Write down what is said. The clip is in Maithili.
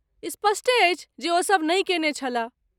स्पष्टे अछि जे ओ सब नहि केने छलाह।